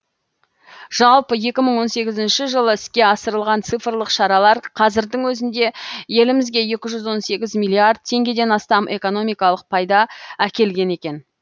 жалпы екі мың он сегізінші жылы іске асырылған цифрлық шаралар қазірдің өзінде елімізге екі жүз он сегіз миллиард теңгеден астам экономикалық пайда әкелген екен